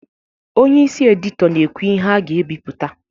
Onye isi edito na ekwu ihe a ga ebipụta